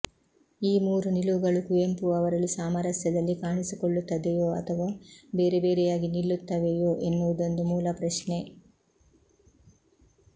ಈ ಮೂರು ನಿಲುವುಗಳು ಕುವೆಂಪು ಅವರಲ್ಲಿ ಸಾಮರಸ್ಯದಲ್ಲಿ ಕಾಣಿಸಿಕೊಳ್ಳುತ್ತದೆಯೋ ಅಥವಾ ಬೇರೆ ಬೇರೆಯಾಗಿ ನಿಲ್ಲುತ್ತವೆಯೋ ಎನ್ನುವುದೊಂದು ಮೂಲ ಪ್ರಶ್ನೆ